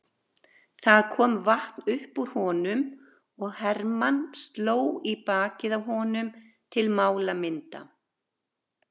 Það kom vatn upp úr honum og Hermann sló í bakið á honum til málamynda.